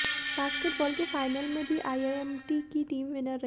basketball के final में भी आईआईएमटी की टीम विनर रही